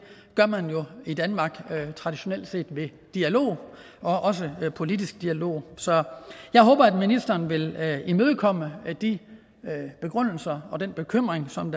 gør man jo i danmark traditionelt set ved dialog også politisk dialog så jeg håber at ministeren vil imødekomme de begrundelser og den bekymring som